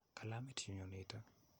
Kilamit nyu nitok.